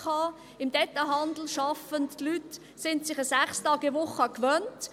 Im Detailhandel sind sich die Leute eine 6-Tage-Woche gewöhnt.